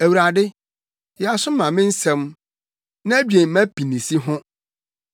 Awurade, yɛ aso ma me nsɛm na dwen mʼapinisi ho.